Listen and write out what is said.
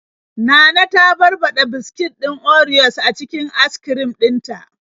Nana ta barbaɗa biskit din orios a cikin askrim din ta.